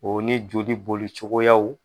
O ni joli bolicogoyaw.